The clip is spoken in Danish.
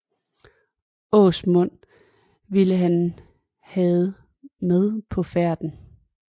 Åsmund ville han havde med på færden